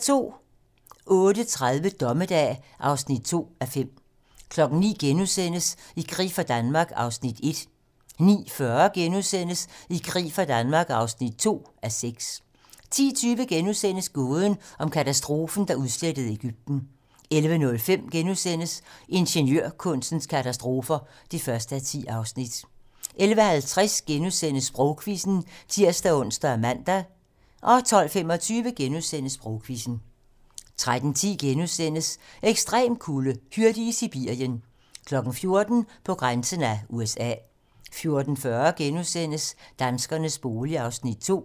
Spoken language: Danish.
08:30: Dommedag (2:5) 09:00: I krig for Danmark (1:6)* 09:40: I krig for Danmark (2:6)* 10:20: Gåden om katastrofen, der udslettede Egypten * 11:05: Ingeniørkunstens katastrofer (1:10)* 11:50: Sprogquizzen *(tir-ons og man) 12:25: Sprogquizzen * 13:10: Ekstrem kulde: Hyrde i Sibirien * 14:00: På grænsen af USA 14:40: Danskernes bolig (2:6)*